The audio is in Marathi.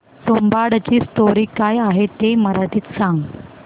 तुंबाडची स्टोरी काय आहे ते मराठीत सांग